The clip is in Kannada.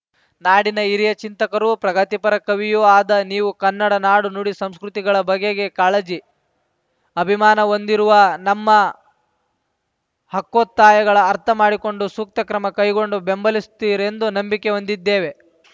ನಾಡಿನ ಹಿರಿಯ ಚಿಂತಕರೂ ಪ್ರಗತಿಪರ ಕವಿಯೂ ಆದ ನೀವು ಕನ್ನಡ ನಾಡುನುಡಿಸಂಸ್ಕೃತಿಗಳ ಬಗೆಗೆ ಕಾಳಜಿ ಅಭಿಮಾನ ಹೊಂದಿರುವ ನಮ್ಮ ಹಕ್ಕೊತ್ತಾಯಗಳ ಅರ್ಥಮಾಡಿಕೊಂಡು ಸೂಕ್ತ ಕ್ರಮ ಕೈಗೊಂಡು ಬೆಂಬಲಿಸ್ತಿರೆಂದು ನಂಬಿಕೆ ಹೊಂದಿದ್ದೇವೆ